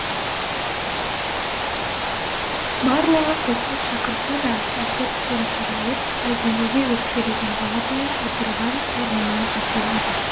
барлығы қосылып шақырса да әсет томсырайып әлденеге өкпелеген баладай отырған орнынан тапжылмады